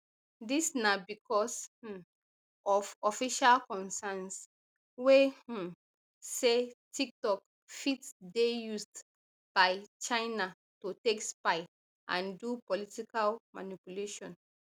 dis na bicos um of us official concerns wey um say tiktok fit dey used by china to take spy and do political manipulation